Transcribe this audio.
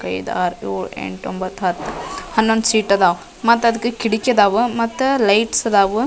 ಐದ್ ಆರ್ ಏಳ್ ಎಂಟ್ ಒಂಬತ್ ಹತ್ತ್ ಹನ್ನೊಂದ್ ಸೀಟ್ ಅದಾವ್ ಮತ್ತು ಅದಕ್ಕ ಕಿಡಕಿ ಆದವು ಮತ್ತು ಲೈಟ್ಸ್ ಆದವು.